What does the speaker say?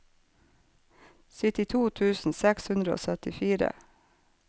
syttito tusen seks hundre og syttifire